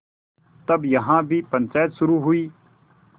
तब यहाँ भी पंचायत शुरू हुई